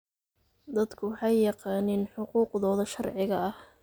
Dadku waxay yaqaaniin xuquuqdooda sharciga ah.